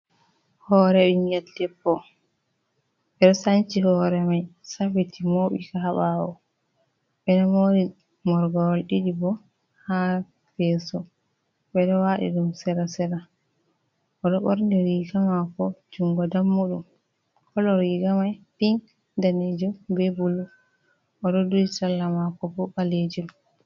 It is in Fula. hooree ɓinngel debbo ɓe sanci hoore may safiti, mooɓika ɓaawo ɓe moori morgowol ɗiɗi boo haa yeeso wedo wadi dum seda-seda o ɗo ɓorni riiga maako junngo dammuɗum kolo riiga may ping, daneejum bee bulu o ɗo duhi sarla maako boo ɓaleeyel.